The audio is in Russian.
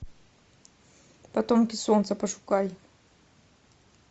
потомки солнца пошукай